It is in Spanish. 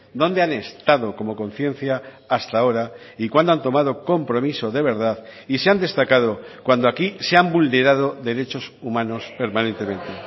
dónde han estado como conciencia hasta ahora y cuándo han tomado compromiso de verdad y se han destacado cuando aquí se han vulnerado derechos humanos permanentemente